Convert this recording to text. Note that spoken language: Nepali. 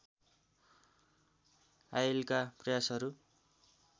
आईएलका प्रयासहरू